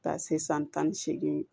Ka taa se san tan ni seegin